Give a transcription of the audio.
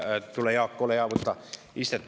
Tule, Jaak, ole hea, võta istet.